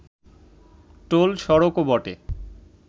toll সড়কও বটে